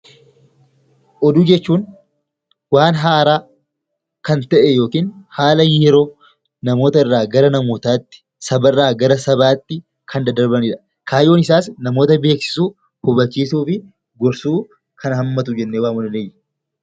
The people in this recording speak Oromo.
Oduu jechuun waan haaraan ta'e yookiin immoo namoota irraa gara namootaatti sabarraa gara sabaatti kan daddarbanidha. Kaayyoon isaas namoota beeksisuu, hubachiisuu fi gorsuu kan hammatu jennee waamuu dandeenya.